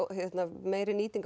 meiri nýting á